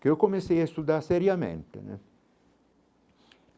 Que eu comecei a estudar seriamente né.